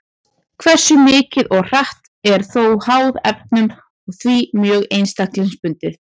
Hversu mikið og hratt er þó háð erfðum og því mjög einstaklingsbundið.